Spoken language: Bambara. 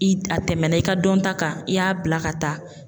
I, a tɛmɛna i ka dɔnta kan i y'a bila ka taa .